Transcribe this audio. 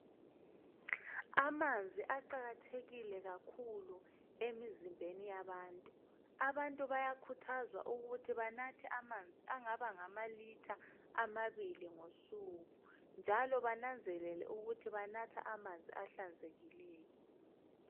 Amanzi aqakathekile kakhulu emizimbeni yabantu abantu bayakhuthazwa ukuthi banathe amanzi angaba ngama litha amabili ngosuku njalo bananzelele ukuthi banatha amanzi ahlanzekileyo.